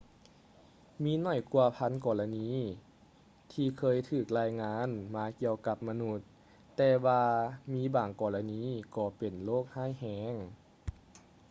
ມີຫນ້ອຍກວ່າພັນກໍລະນີທີ່ເຄີຍຖືກລາຍງານມາກ່ຽວກັບມະນຸດ ແຕ່ວ່າມີບາງກໍລະນີກໍເປັນໂຣກຮ້າຍແຮງ